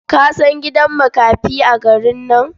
Ka san gidan makafi a garin nan?